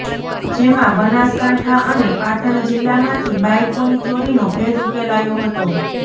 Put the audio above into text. જેમાં બનાસકાંઠા અને પાટણ જિલ્લામાંથી બાઇકોની ચોરીનો ભેદ ઉકેલાયો હતો